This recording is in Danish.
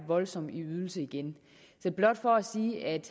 voldsom i ydelse igen det er blot for at sige at